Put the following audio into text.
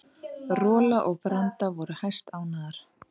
Rola og Branda voru hæstánægðar.